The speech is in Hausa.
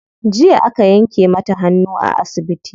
Jiya aka yanke mata hannu a asibiti.